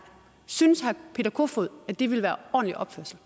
synes herre peter kofod at det vil være ordentlig